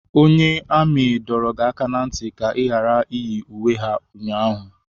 Onye amị dọrọ gị aka na ntị ka ị ghara iyi uwe ha ụnyaahụ!